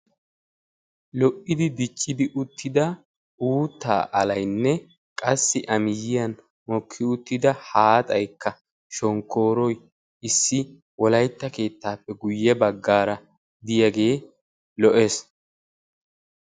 lo'idi diccidi uttida uuttaa alayinne qassi a miyyiyan mokki uttida haaxaykka shonkooroy issi wolayitta keettaappe guyye baggaaraa diyagee lo'es.